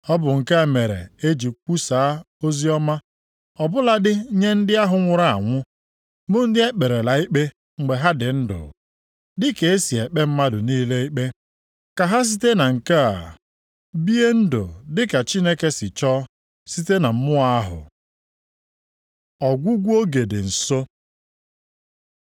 Ọ bụ nke a mere e ji kwusaa oziọma ọ bụladị nye ndị ahụ nwụrụ anwụ bụ ndị e kperela ikpe mgbe ha dị ndụ, dịka e si ekpe mmadụ niile ikpe, ka ha site na nke a bie ndụ dị ka Chineke si chọọ site na mmụọ ahụ. Ọgwụgwụ oge dị nso